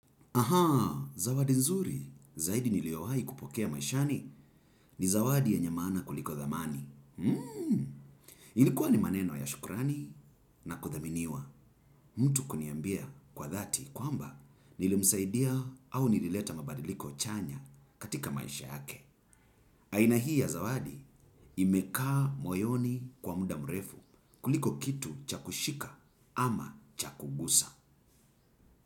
Ahaa, zawadi nzuri, zaidi niliowahi kupokea maishani ni zawadi yenye maana kuliko dhamani. Ilikuwa ni maneno ya shukurani na kuthaminiwa mtu kuniambia kwa dhati kwa mba nilimsaidia au nilileta mabadiliko chanya katika maisha yake. Aina hii ya zawadi imekaa moyoni kwa muda mrefu kuliko kitu cha kushika ama cha kuguza.